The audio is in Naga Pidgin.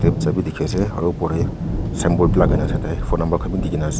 side bhi dekhi ase aru porai symbol lagai dena phone no laga khan bhi de kini ase.